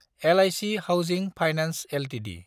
leak housing finance Ltd